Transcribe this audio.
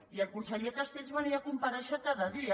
i el conseller castells venia a comparèixer cada dia